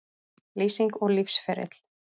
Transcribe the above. Lýsing og lífsferill